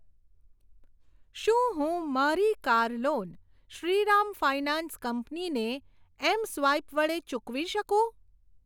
શું હું મારી car loan Shriram finance company ને એમસ્વાઈપ વડે ચૂકવી શકું?